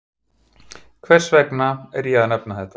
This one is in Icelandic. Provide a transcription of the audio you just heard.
Hvers vegna er ég að nefna þetta?